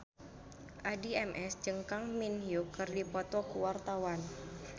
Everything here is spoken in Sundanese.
Addie MS jeung Kang Min Hyuk keur dipoto ku wartawan